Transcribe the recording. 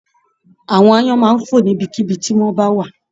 Àwọn aáyán máa n fo níbikíbi ti wọn ba wa